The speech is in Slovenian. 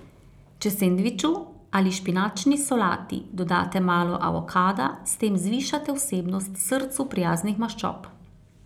Če sendviču ali špinačni solati dodate malo avokada, s tem zvišate vsebnost srcu prijaznih maščob.